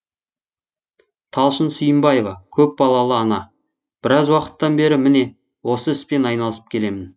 талшын сүйінбаева көпбалалы ана біраз уақыттан бері міне осы іспен айналысып келемін